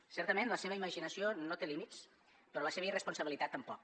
certament la seva imaginació no té límits però la seva irresponsabilitat tampoc